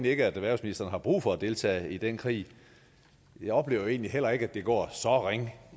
ikke at erhvervsministeren har brug for at deltage i den krig jeg oplever egentlig heller ikke at det går så ringe